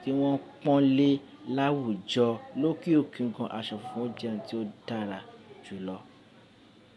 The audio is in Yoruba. tí wọ́n pọ́n lé láwùjọ lókè òkè gan. Aṣọ funfun jẹ́ ohun tí ó dára jù lọ.